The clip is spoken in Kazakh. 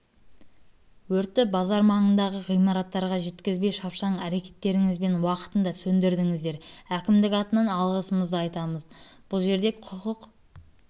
өртті базар маңындағы ғимараттарға жеткізбей шапшаң әрекеттеріңізбен уақытында сөндірдіңіздер әкімдік атынан алғысымды айтамын бұл жерде құқық